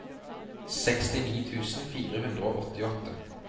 sekstini tusen fire hundre og åttiåtte